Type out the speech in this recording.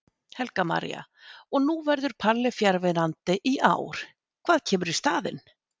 Helga María: Og nú verður Palli fjarverandi í ár, hvað kemur í staðinn?